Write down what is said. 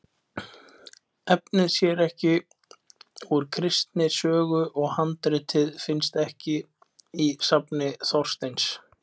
Efnið sé ekki úr Kristni sögu, og handritið finnist ekki í safni Þorsteins